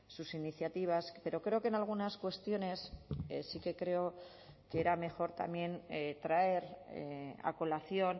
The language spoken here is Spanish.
sus iniciativas pero creo que en algunas cuestiones sí que creo que era mejor también traer a colación